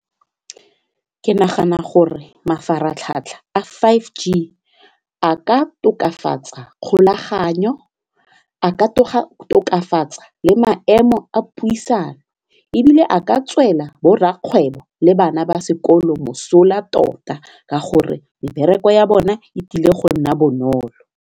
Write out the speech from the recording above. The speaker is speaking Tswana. Ke nagana gore mafaratlhatlha a five G a ka tokafatsa kgolaganyo, a ka tsoga tokafatsa le a maemo a puisano ebile a ka tswela bo rrakgwebo le bana ba sekolo mosola tota ka gore mebereko ya bone e tlile go nna bonolo.